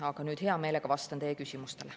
Aga nüüd hea meelega vastan teie küsimustele.